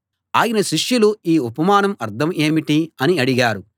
ఆయన శిష్యులు ఈ ఉపమానం అర్థం ఏమిటి అని అడిగారు